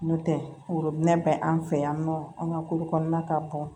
N'o tɛ worobinɛ bɛ an fɛ yan nɔ an ka ko kɔnɔna ka bɔ